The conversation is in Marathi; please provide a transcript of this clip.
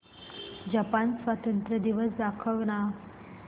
जपान स्वातंत्र्य दिवस दाखव ना